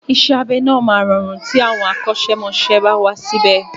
Isẹ́ abẹ náà máa rọrùn tí àwọn akọ́ṣẹ́mọsẹ́ bá wà síbè.